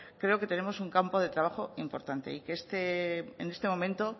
creo que tenemos un campo de trabajo importante y que en este momento